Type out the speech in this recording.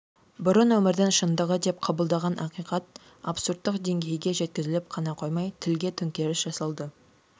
бұрын өмірдің шындығы деп қабылдаған ақиқат абсурдтық деңгейге жеткізіліп қана қоймай тілге төңкеріс жасалды